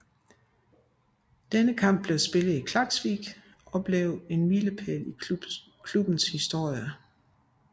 Denne kamp blev spillet i Klaksvík og blev en milepæl i klubbens historie